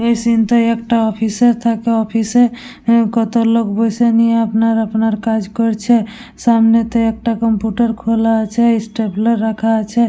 এই সিন্ টা একটা অফিস এর থাকে অফিস এ কত লোক বসে নিয়ে আপনা আপনার কাজ করছে। সামনেতে একটা কম্পিউটার খোলা আছে স্টেপ্লার রাখা আছে।